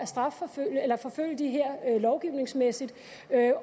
at forfølge de her lovgivningsmæssigt